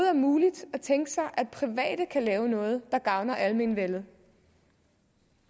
er muligt at tænke sig at private kan lave noget der gavner almenvellet